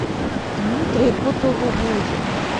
дмитрий кутулугужин